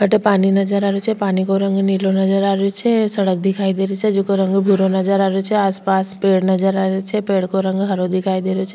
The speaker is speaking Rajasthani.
अठे पानी नजर आ रेहो छे पानी को रंग नीलो नजर आ रेहो छे सड़क दिखाई दे री छे जेको रंग भूरो नजर आ रेहो छे आस पास पेड़ नजर आ रेहो छे पेड़ को रंग हरो दिखाई दे रो छे।